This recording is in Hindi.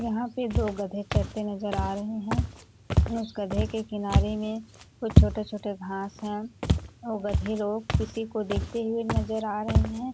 यहाँ पे दो गधे चरते नजर आ रहे है इस गधे के किनारे में कुछ छोटे-छोटे घाँस है आउ गधे लोग किसी को देखते हुए नजर आ रहे हैं।